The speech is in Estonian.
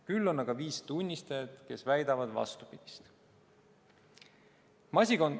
Küll on aga viis tunnistajat, kes väidavad vastupidist.